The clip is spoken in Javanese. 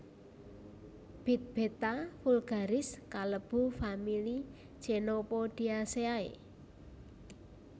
Bit Beta vulgaris kalebu famili Chenopodiaceae